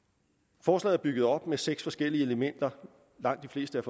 forslaget er bygget op af seks forskellige elementer og langt de fleste